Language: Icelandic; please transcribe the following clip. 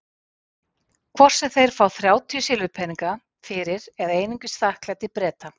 Hvort sem þeir fá þrjátíu silfurpeninga fyrir eða einungis þakklæti Breta.